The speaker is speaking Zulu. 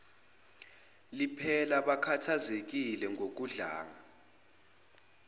liphela bakhathazekile ngokudlanga